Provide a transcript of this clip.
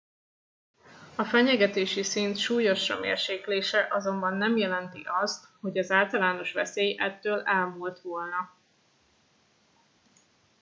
a fenyegetési szint súlyosra mérséklése azonban nem jelenti azt hogy az általános veszély ettől elmúlt volna